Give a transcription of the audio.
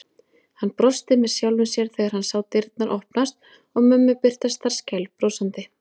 Hann brosti með sjálfum sér þegar hann sá dyrnar opnast og mömmu birtast þar skælbrosandi.